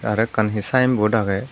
aro ekan hi sayenbot agey.